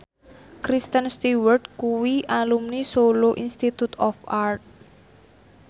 Kristen Stewart kuwi alumni Solo Institute of Art